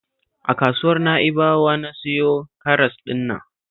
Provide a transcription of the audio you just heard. A kasuwar Na'ibawa na siyo karas ɗin nan